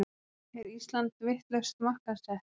Er Ísland vitlaust markaðssett